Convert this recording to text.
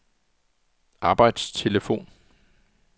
arbejdstelefon